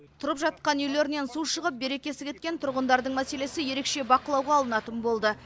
тұрып жатқан үйлерінен су шығып берекесі кеткен тұрғындардың мәселесі ерекше бақылауға алынатын болды